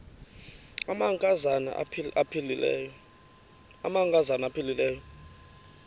amanka zana aphilele